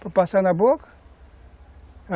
Para passar na boca?